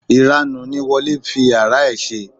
Ìranù ni Wole ń fi yàrá ẹ̀ ṣe.